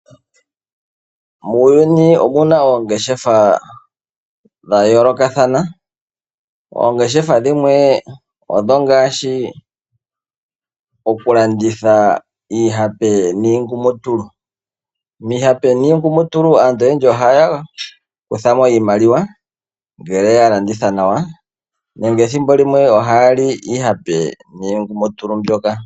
Muuyuni omuna oongeshefa dha yolokathana, oongeshefa dhimwe ongashi oku landitha iipahe niingumutulu. Miihape niingumutulu aantu oyendji ohaya kuthamo iimaliwa ngele yalanditha nawa nenge ethimbo limwe ohaya li iihape niingumutulu mbyoka.